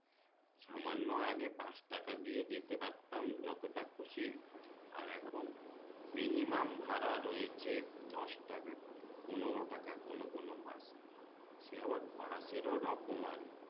সামান্য আগে পাঁচ টাকা দিয়ে যেতে পারতাম যতটা খুশি আর এখন minimum ভাড়া রয়েছে দশটাকা করে পনোরো টাকা কোনো কোনো বাস সে আবার বাসের ও রকম আরকি